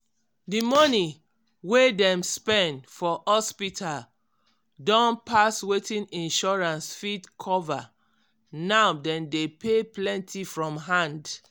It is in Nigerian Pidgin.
di money wey dem spend for hospital don pass wetin insurance fit cover now dem dey pay plenty from hand.